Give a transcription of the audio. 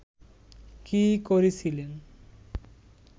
কী করেছিলেন